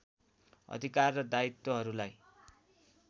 अधिकार र दायित्वहरूलाई